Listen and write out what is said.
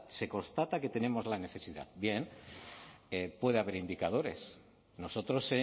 se constata que tenemos la necesidad bien puede haber indicadores nosotros